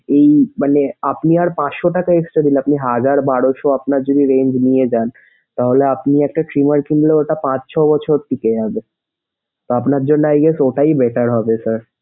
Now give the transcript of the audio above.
এই মানে আপনি আর পাঁচশো টাকা extra দিলে আপনি হাজার বারোশো আপনার যদি range নিয়ে যান তাহলে আপনি একটা trimmer কিনলে ওটা পাঁচ ছয় বছর টিকে যাবে। আপনার জন্যে i guess ওটাই better হবে sir